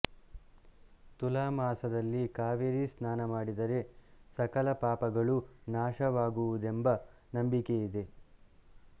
ತುಲಾಮಾಸದಲ್ಲಿ ಕಾವೇರಿ ಸ್ನಾನ ಮಾಡಿದರೆ ಸಕಲ ಪಾಪಗಳೂ ನಾಶವಾಗುವುದೆಂಬ ನಂಬಿಕೆಯಿದೆ